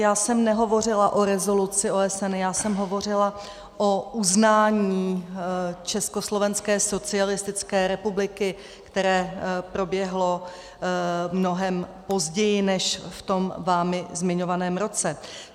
Já jsem nehovořila o rezoluci OSN, já jsem hovořila o uznání Československé socialistické republiky, které proběhlo mnohem později než v tom vámi zmiňovaném roce.